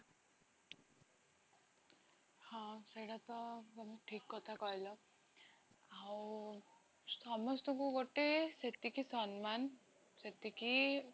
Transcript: ହଁ ସେଟା ତ ସବୁ ଠିକ କଥା କହିଲ, ଆଉ ସମସ୍ତଙ୍କୁ ଗୋଟେ ସେତିକି ସଂମାନ, ସେତିକି